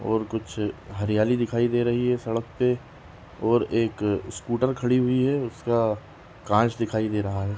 और कुछ हरियाली दिखाई दे रही है सड़क पे और एक स्कूटर खड़ी हुई है उसका कांच दिखाई दे रहा है।